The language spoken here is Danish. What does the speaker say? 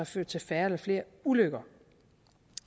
ført til færre eller flere ulykker